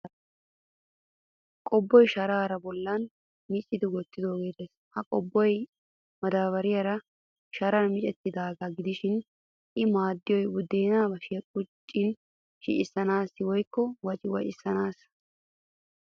Qobbuwa sharaa bollan micci wottidoogee des. Ha qobboy madaabbariya Sharan micettidaagaa gidishin I maaddiyoy buddeenaa bashiyaa quccin shocissodi woyikko waciwacissanaassa.